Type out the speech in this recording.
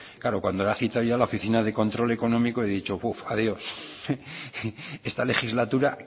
claro cuando lo ha citado ya la oficina de control económico he dicho puf adiós esta legislatura